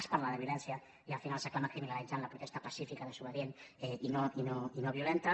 es parla de violència i al final s’acaba criminalitzant la protesta pacífica desobedient i no violenta